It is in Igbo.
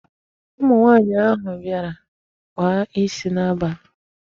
Ụmụ nwaanyị ahụ bịara kpaa isi n'abalị.